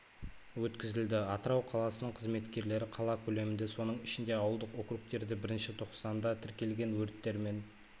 өткізілді атырау қаласының қызметкерлері қала көлемінде соның ішінде ауылдық округтерде бірінші тоқсанда тіркелген өрттер мен